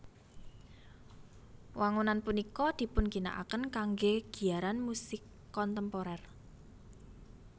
Wangunan punika dipun ginakaken kanggé giyaran musik kontemporér